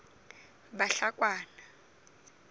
bahlakwana